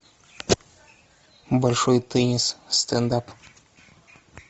большой теннис стендап